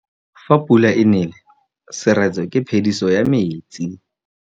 Fa pula e nelê serêtsê ke phêdisô ya metsi.